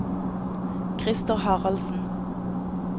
Krister Haraldsen